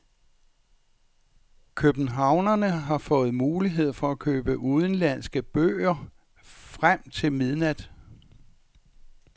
Københavnerne har fået mulighed for at købe udenlandske bøger frem til midnat.